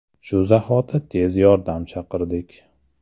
– Shu zahoti tez yordam chaqirdik.